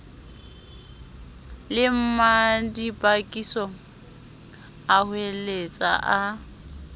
le mmadibakiso a hoeletsa a